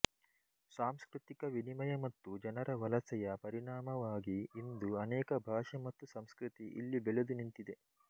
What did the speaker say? ಸಾಂಸ್ಕೃತಿಕ ವಿನಿಮಯ ಮತ್ತು ಜನರ ವಲಸೆಯ ಪರಿಣಾಮವಾಗಿ ಇಂದು ಅನೇಕ ಭಾಷೆ ಮತ್ತು ಸಂಸ್ಕೃತಿ ಇಲ್ಲಿ ಬೆಳೆದು ನಿಂತಿದೆ